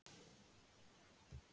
Það sem er rétt